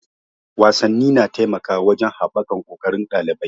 Wasanni na taimakawa wajen haɓaka ƙoƙarin ɗalibai.